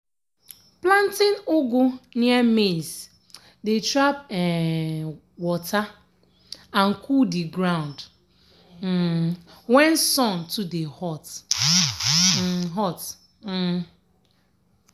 planting ugu near maize dey trap um water and cool the ground um when sun dey too hot. um hot. um